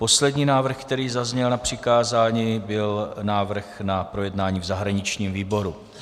Poslední návrh, který zazněl na přikázání, byl návrh na projednání v zahraničním výboru.